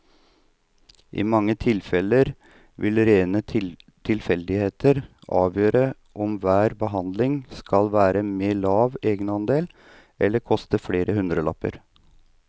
I mange tilfeller vil rene tilfeldigheter avgjøre om hver behandling skal være med lav egenandel eller koste flere hundrelapper.